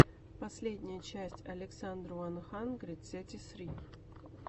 последняя часть александр уан хандрид сети ссри